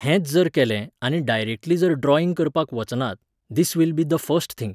हेंच जर केलें आनी डायरेक्टली जर ड्रॉइंग करपाक वचनात, this will be the first thing